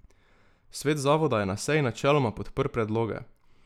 Svet zavoda je na seji načeloma podprl predloge.